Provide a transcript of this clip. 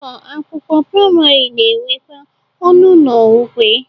Ụlọ akwụkwọ prịmarị na-enwekwa ọnụ ụlọ ukwe.